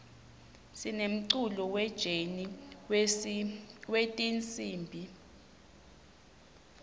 sinemculo we jeni wetinsimb